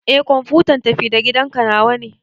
Eh kwamfuta tafi-da-gidanka nawa ne.